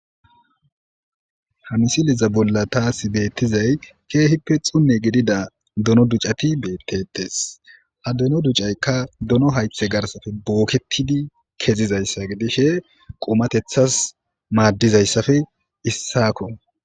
Ha misiliza bolla taasi beettizay keehippe xunne gidida dono ducati beettetes. Ha dono duccaykka dono haythe garsafe booketidi kezizayssa gidishe qumatethas maaddizayssappe issako.